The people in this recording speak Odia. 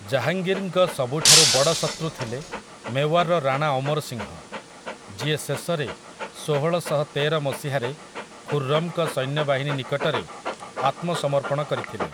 ଜାହାଙ୍ଗୀର୍‌ଙ୍କ ସବୁଠାରୁ ବଡ଼ ଶତୃ ଥିଲେ ମେୱାରର ରାଣା ଅମର ସିଂହ, ଯିଏ ଶେଷରେ ଷୋହଳଶହତେର ମସିହାରେ ଖୁର୍‌ରମ୍‌ଙ୍କ ସୈନ୍ୟବାହିନୀ ନିକଟରେ ଆତ୍ମସମର୍ପଣ କରିଥିଲେ ।